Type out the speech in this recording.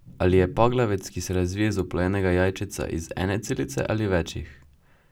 Ali je paglavec, ki se razvije iz oplojenega jajčeca, iz ene celice ali večih?